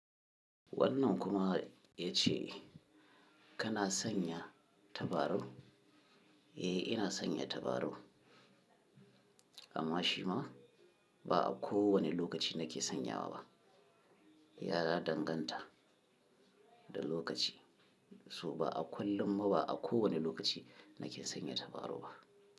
Wannan kuma ya ce kana sanya tabarau? Eh, ina sanya tabarau, amma shi ma ba a kowane lokaci nake sanyawa ba. Yara danganta da lokaci, so ba a kullum ma ba a kowane lokaci nake sanya tabarau ba.